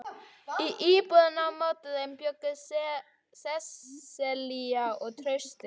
Í íbúðinni á móti þeim bjuggu Sesselía og Trausti.